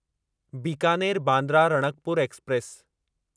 Bikaner Bandra Ranakpur express